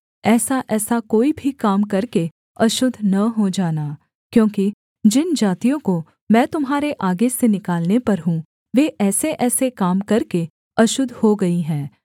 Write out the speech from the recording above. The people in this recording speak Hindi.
ऐसाऐसा कोई भी काम करके अशुद्ध न हो जाना क्योंकि जिन जातियों को मैं तुम्हारे आगे से निकालने पर हूँ वे ऐसेऐसे काम करके अशुद्ध हो गई हैं